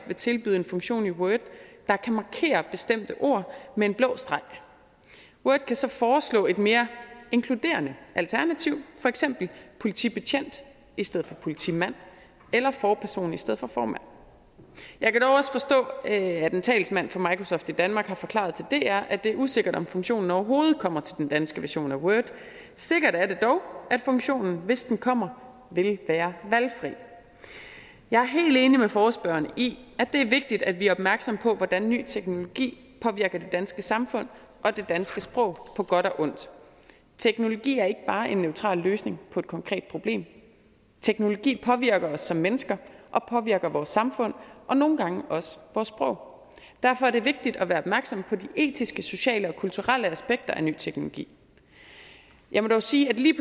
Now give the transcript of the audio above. vil tilbyde en funktion i word der kan markere bestemte ord med en blå streg word kan så foreslå et mere inkluderende alternativ for eksempel politibetjent i stedet for politimand eller forperson i stedet for formand jeg kan dog også forstå at en talsmand for microsoft i danmark har forklaret til dr at det er usikkert om funktionen overhovedet kommer til den danske version af word sikkert er det dog at funktionen hvis den kommer vil være valgfri jeg er helt enig med forespørgerne i at det er vigtigt at vi er opmærksomme på hvordan en ny teknologi påvirker det danske samfund og det danske sprog på godt og ondt teknologi er ikke bare en neutral løsning på et konkret problem teknologi påvirker os som mennesker og påvirker vores samfund og nogle gange også vores sprog derfor er det vigtigt at være opmærksom på de etiske sociale og kulturelle aspekter af ny teknologi jeg må dog sige at lige